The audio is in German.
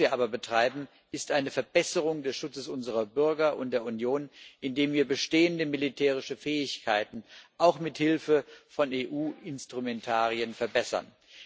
Was wir aber betreiben, ist eine Verbesserung des Schutzes unserer Bürger und der Union, indem wir bestehende militärische Fähigkeiten auch mit Hilfe von EU Instrumentarien verbessern.